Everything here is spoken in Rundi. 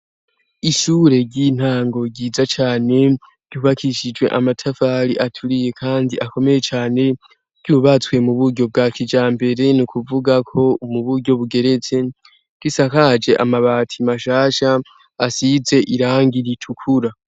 ishure ry'intango ryiza cane ryubakishijwe amatafari aturiye kandi akomeye cane ry'ububatswe muburyo bwa kijambere ni kuvugako muburyo bugeretse bwisakaje amabati mashasha asize irangi ritukura